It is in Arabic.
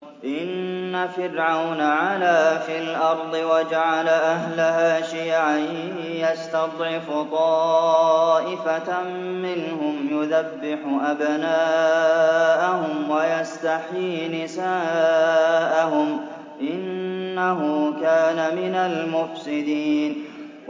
إِنَّ فِرْعَوْنَ عَلَا فِي الْأَرْضِ وَجَعَلَ أَهْلَهَا شِيَعًا يَسْتَضْعِفُ طَائِفَةً مِّنْهُمْ يُذَبِّحُ أَبْنَاءَهُمْ وَيَسْتَحْيِي نِسَاءَهُمْ ۚ إِنَّهُ كَانَ مِنَ الْمُفْسِدِينَ